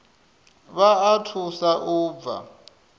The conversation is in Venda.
vha o thusa u bva